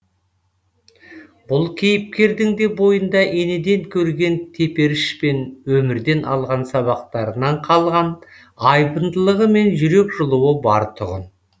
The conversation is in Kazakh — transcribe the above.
бұл кейіпкердің де бойында енеден көрген теперіш пен өмірден алған сабақтарынан қалған айбындылығы мен жүрек жылуы бар тұғын